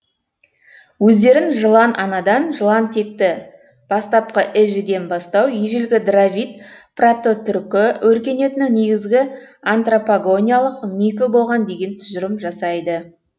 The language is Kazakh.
өздерін жылан анадан жылан текті бастапқы эжеден бастау ежелгі дравид прототүркі өркениетінің негізгі антропогониялық мифі болған деген тұжырым жасайды